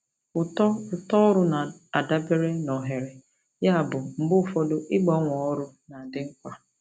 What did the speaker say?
Uto Uto ọrụ na-adabere na ohere, yabụ mgbe ụfọdụ ịgbanwe ọrụ na-adị mkpa.